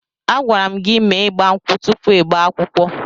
Agwara m gị mee ịgba nkwụ tụpụ ịgba akwụkwọ!